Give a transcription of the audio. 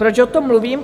Proč o tom mluvím?